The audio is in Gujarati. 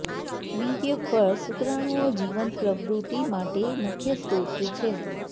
વીર્ય ફળ શુક્રાણુઓ જીવન પ્રવૃત્તિ માટે મુખ્ય સ્ત્રોત છે